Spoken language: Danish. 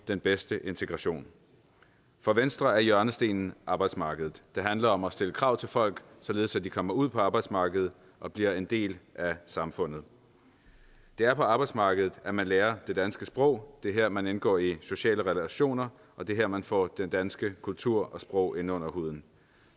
den bedste integration for venstre er hjørnestenen arbejdsmarkedet det handler om at stille krav til folk således at de kommer ud på arbejdsmarkedet og bliver en del af samfundet det er på arbejdsmarkedet at man lærer det danske sprog det er her man indgår i sociale relationer og det er her man får den danske kultur og sprog ind under huden